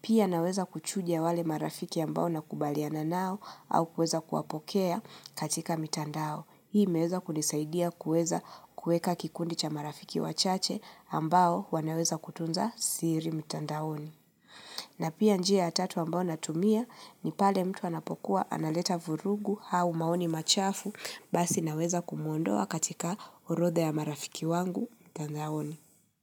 Pia naweza kuchunja wale marafiki ambao nakubaliana nao au kuweza kuwapokea katika mitandao. Hii imeweza kunisaidia kueza kueka kikundi cha marafiki wachache ambao wanaweza kutunza siri mtandaoni. Na pia njia ya tatu ambao natumia ni pale mtu anapokuwa analeta vurugu au maoni machafu basi naweza kumuondoa katika orodha ya marafiki wangu mtandaoni.